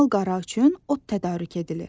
mal qara üçün ot tədarük edilir.